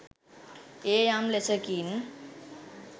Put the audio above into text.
එය යම් ලෙසකින්